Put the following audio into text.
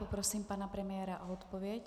Poprosím pana premiéra o odpověď.